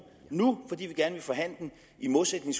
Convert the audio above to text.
nu fordi vi gerne vil forhandle den i modsætning